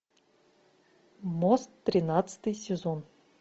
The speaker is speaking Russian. мост тринадцатый сезон